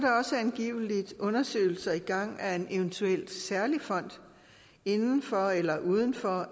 angiveligt undersøgelser i gang af en eventuel særlig fond inden for eller uden for